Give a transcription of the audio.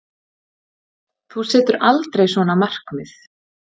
Þú setur aldrei svona markmið.